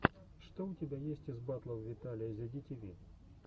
что у тебя есть из батлов виталия зи ди ти ви